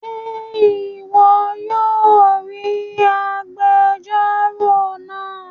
Ṣe ìwò yóò ríi àgbèjọro náa